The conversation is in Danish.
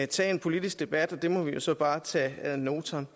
tage en politisk debat og det må vi jo så bare tage ad notam